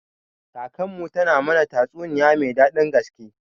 Kakanmu ta mana tatsuniya mai daɗin gaske.